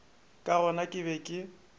ka gona ke be ke